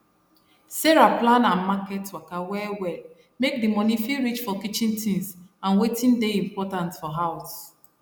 sarah plan her market waka wellwell make d money fit reach for kitchen tins and wetin dey important for house